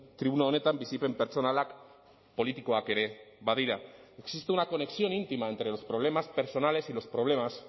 tribuna honetan bizipen pertsonalak politikoak ere badira existe una conexión íntima entre los problemas personales y los problemas